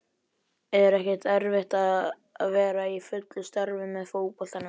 Er ekkert erfitt að vera í fullu starfi með fótboltanum?